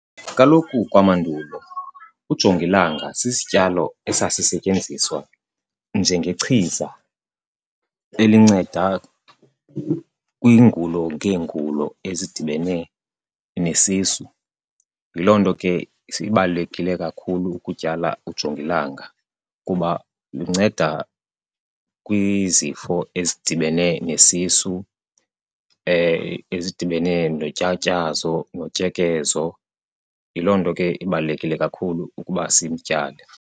Kaloku kwamandulo ujongilanga sisityalo esasisetyenziswa njengechiza elinceda kwiingulo ngeengulo ezidibene nesisu. Yiloo nto ke sibalulekile kakhulu ukutyala ujongilanga kuba lunceda kwizifo ezidibene nesisu, ezidibene notyatyazo, notyekezo. Yiloo nto ke ibalulekile kakhulu ukuba simtyale.